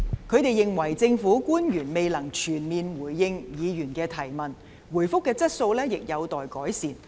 他們認為政府官員未能全面回應議員的質詢，答覆的質素亦有待改善。